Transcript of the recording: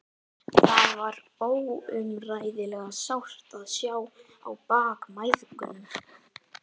Það var óumræðilega sárt að sjá á bak mæðgunum.